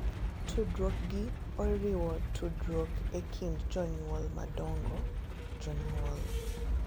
Tudruok gi oriwo tudruok e kind jonyuol madongo, jonyuol,